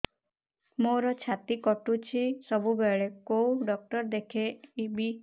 ମୋର ଛାତି କଟୁଛି ସବୁବେଳେ କୋଉ ଡକ୍ଟର ଦେଖେବି